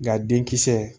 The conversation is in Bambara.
Nka denkisɛ